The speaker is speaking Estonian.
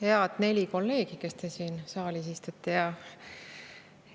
Head neli kolleegi, kes te siin saalis istute!